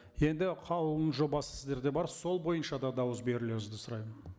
енді қаулының жобасы сіздерде бар сол бойынша да дауыс берулеріңізді сұраймын